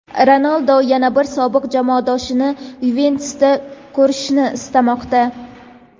Ronaldu yana bir sobiq jamoadoshini "Yuventus"da ko‘rishni istamoqda.